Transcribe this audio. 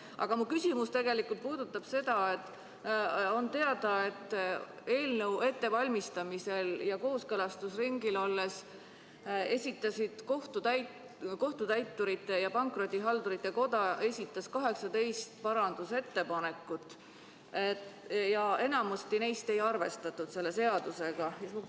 Aga mu küsimus puudutab seda, et on teada, et eelnõu ettevalmistamisel ja kooskõlastusringil olles esitas Kohtutäiturite ja Pankrotihaldurite Koda 18 parandusettepanekut ja enamikku neist selles seaduseelnõus ei arvestatud.